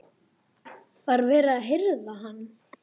Var verið að hirða hann?